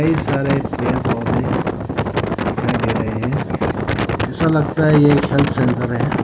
कई सारे पेड़ पौधे दिखाई दे रहे हैं ऐसा लगता है कि ये एक हेल्थ सेंटर है।